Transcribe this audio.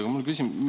Aga mul on küsimus.